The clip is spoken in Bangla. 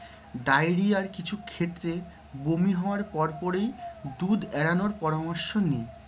ddiarrhea র কিছু ক্ষেত্রে বমি হওয়ার পরপরই দুধ এড়ানোর পরামর্শ দিই।